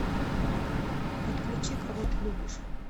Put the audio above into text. подключи кого ты любишь